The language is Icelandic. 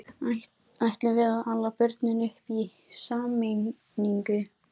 Ætlum við að ala börnin upp í sameiningu?